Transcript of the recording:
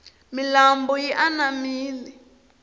milambu yi anamile